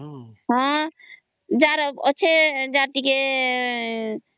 ହଁ ଯାହାର ଅଛି ଯାହାର ଟିକେ